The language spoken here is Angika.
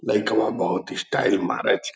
लइकवा बहुत स्टाइल मारै छै।